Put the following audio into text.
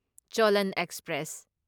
Cholan express